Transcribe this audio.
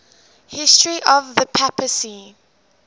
history of the papacy